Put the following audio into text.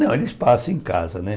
Não, eles passam em casa, né?